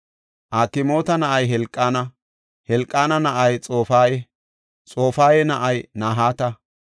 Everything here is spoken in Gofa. Akmoota na7ay Helqaana; Helqaana na7ay Xofaya; Xofaya na7ay Nahaata;